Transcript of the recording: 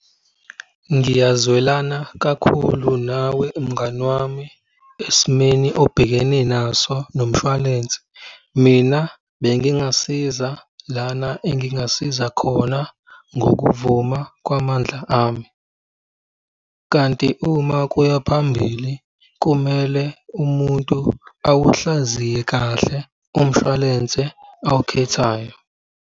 Ngiyazwelana kakhulu nawe mngani wami esimeni obhekene naso nomshwalense. Mina bengingasiza lana engingasiza khona ngokuvuma kwamandla ami. Kanti uma kuya phambili kumele umuntu awuhlaziye kahle umshwalense awukhethayo.